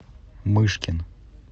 мышкин